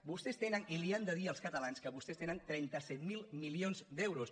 vostès tenen i els ho han de dir als catalans que vostès tenen trenta set mil milions d’euros